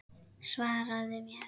Svaraðu mér!